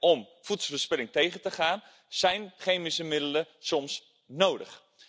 Om voedselverspilling tegen te gaan, zijn chemische middelen soms nodig.